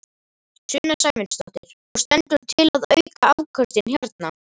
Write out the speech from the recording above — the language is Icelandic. Sunna Sæmundsdóttir: Og stendur til að auka afköstin hérna?